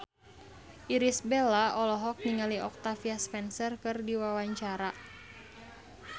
Irish Bella olohok ningali Octavia Spencer keur diwawancara